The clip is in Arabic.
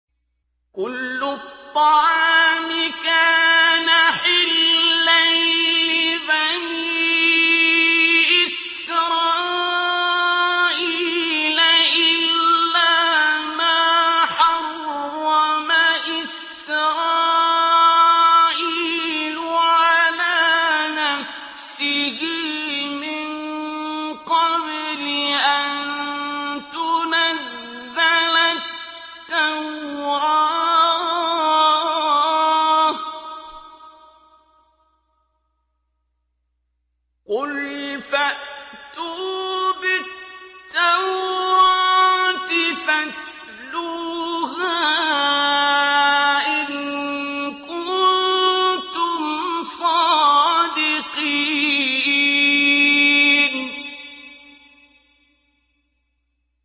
۞ كُلُّ الطَّعَامِ كَانَ حِلًّا لِّبَنِي إِسْرَائِيلَ إِلَّا مَا حَرَّمَ إِسْرَائِيلُ عَلَىٰ نَفْسِهِ مِن قَبْلِ أَن تُنَزَّلَ التَّوْرَاةُ ۗ قُلْ فَأْتُوا بِالتَّوْرَاةِ فَاتْلُوهَا إِن كُنتُمْ صَادِقِينَ